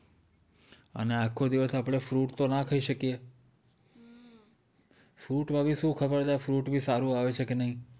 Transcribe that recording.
અને આખો દિવસ આપણે fruit તો ના ખાઈ શકીયે fruit બીમાં શું ખબર fruit પણ સારું આવે છે કે નઈ